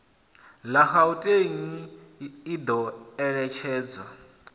la gauteng i do eletshedza